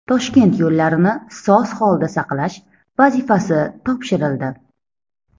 Toshkent yo‘llarini soz holda saqlash vazifasi topshirildi.